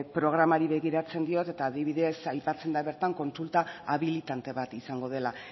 programari begiratzen diot eta adibidez aipatzen da bertan kontsulta habilitante bat izango dela